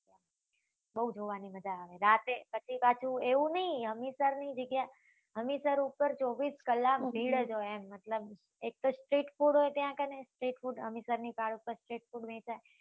બઉ જોવા ની મજા આવે રાતે બધી બાજુ એવું નહિ હમીસર ની જગ્યા એ હમીસર ઉપર ચોવીસ કલાક ભીડ જ હોય એમ મતલબ એક તો street food હોય ત્યાં કને હમીસર ની પાલ ઉપર street food વેચાય